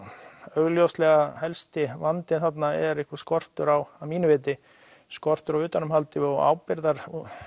augljóslega helsti vandinn þarna er einhver skortur á skortur á utanumhaldi og og